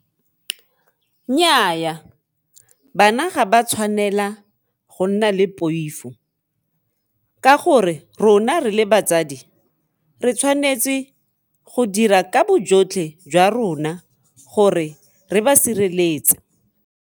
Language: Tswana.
Nnyaa bana ga ba tshwanela go nna le poifo ka gore rona re le batsadi re tshwanetse go dira ka bojotlhe jwa rona gore re ba sireletse.